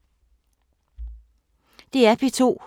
DR P2